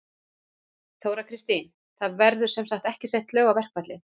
Þóra Kristín: Það verða sem sagt ekki sett lög á verkfallið?